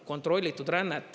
– kontrollitud rännet.